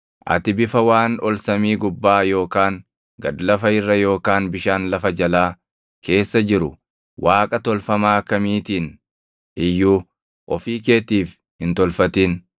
Ati bifa waan ol samii gubbaa yookaan gad lafa irra yookaan bishaan lafa jalaa keessa jiru waaqa tolfamaa kamiitiin iyyuu ofii keetiif hin tolfatin.